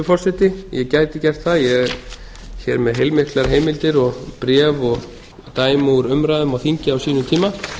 forseti ég gæti gert það ég er hér með heilmiklar heimildir og bréf og dæmi úr umræðum á þingi á sínum tíma